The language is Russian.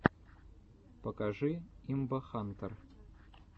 покажи имбахантэр